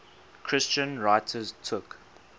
christian writers took